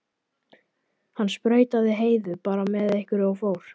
Hann sprautaði Heiðu bara með einhverju og fór.